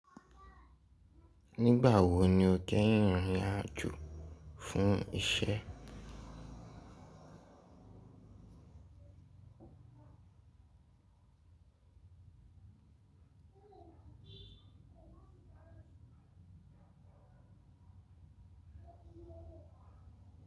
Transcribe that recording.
Nígbà wo ni o keyin rìn ìrìn-àjò fún iṣẹ́?